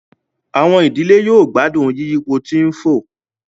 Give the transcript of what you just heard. Àwọn ìdílé yóò gbádùn yiyipo tí ń fò